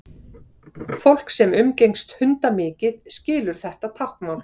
Fólk sem umgengst hunda mikið skilur þetta táknmál.